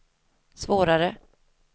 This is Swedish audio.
svårare